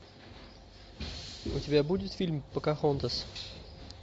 у тебя будет фильм покахонтас